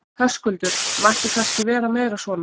Höskuldur: Mætti kannski vera meira svona?